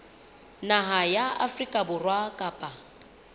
naha ya afrika borwa kapa